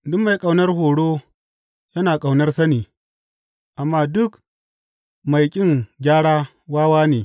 Duk mai ƙaunar horo yana ƙaunar sani, amma duk mai ƙin gyara wawa ne.